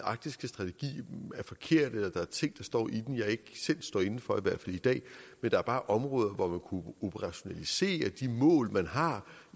arktiske strategi er forkert eller at der er ting der står i den jeg ikke selv står inde for i hvert fald i dag men der er bare områder hvor man operationalisere de mål man har